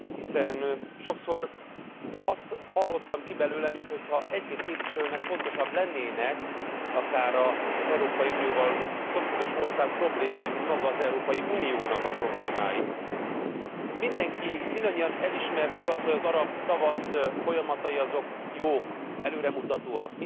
Hiszen sokszor azt hallottam ki belőle, mintha egy két képviselőnek fontosabbak lennének akár az Európai Unióval szomszédos országok problémái, mint maga az Európai Unió problémái. Mindenki, mindannyian elismertük azt, hogy az arab tavasz folyamatai jók, előremutatóak.